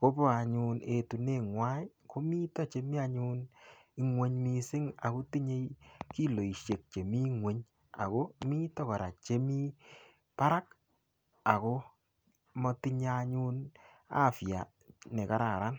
kobo anyun etuneng'wai. Komito chemi anyun ingweny mising ago tinyei kiloosiek che mi ing'wony ago mito kora chemi barak ago matinye anyun afya ne kararan.